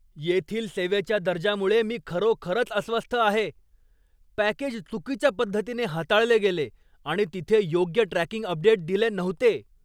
येथील सेवेच्या दर्जामुळे मी खरोखरच अस्वस्थ आहे. पॅकेज चुकीच्या पद्धतीने हाताळले गेले आणि तिथे योग्य ट्रॅकिंग अपडेट दिले नव्हते!